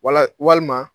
Wala walima